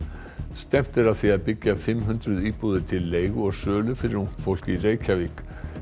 stefnt er að því að byggja fimm hundruð íbúðir til leigu og sölu fyrir ungt fólk í Reykjavík